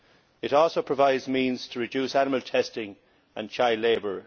It also provides means to reduce animal testing and child labour.